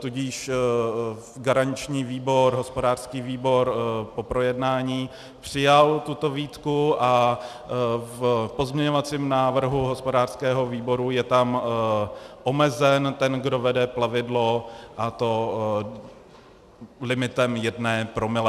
Tudíž garanční výbor, hospodářský výbor, po projednání přijal tuto výtku a v pozměňovacím návrhu hospodářského výboru je tam omezen ten, kdo vede plavidlo, a to limitem jednoho promile.